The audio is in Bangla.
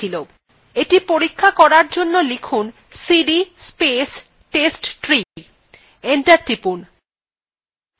এটি পরীক্ষা করার জন্য লিখুন cd space testtree enter টিপুন